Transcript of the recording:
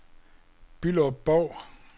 Bylderup-Bov